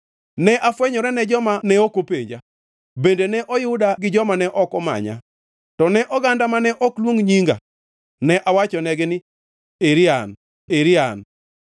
“Ne afwenyora ne joma ne ok openja, bende ne oyuda gi joma ne ok omanya. To ne oganda mane ok luong nyinga, ne awachonegi ni, ‘Eri an, eri an.’